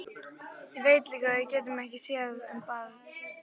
Veit líka að við getum ekki séð um barn.